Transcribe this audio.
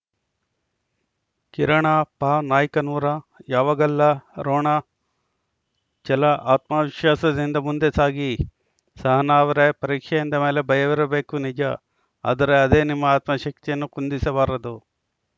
ಕಿರಣ ಪ ನಾಯ್ಕನೂರ ಯಾವಗಲ್ಲ ರೋಣ ಛಲ ಆತ್ಮವಿಶ್ವಾಸದಿಂದ ಮುಂದೆ ಸಾಗಿ ಸಹನಾ ಅವರೇ ಪರೀಕ್ಷೆ ಎಂದ ಮೇಲೆ ಭಯವಿರಬೇಕು ನಿಜ ಆದರೆ ಅದೇ ನಿಮ್ಮ ಆತ್ಮಶಕ್ತಿಯನ್ನು ಕುಂದಿಸಬಾರದು